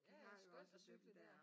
Ja ja skønt at cykle der